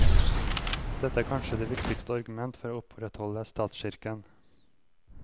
Dette er kanskje det viktigste argument for å opprettholde statskirken.